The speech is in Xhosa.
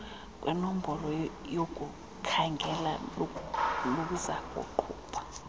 kwenombolo yokukhangela luzakuqhuba